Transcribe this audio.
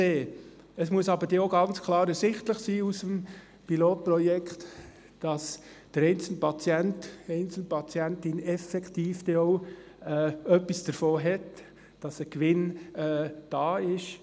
Aus dem Pilotprojekt muss aber auch ganz klar ersichtlich sein, dass der einzelne Patient, die einzelne Patientin effektiv auch etwas davon haben wird, dass es einen Gewinn gibt.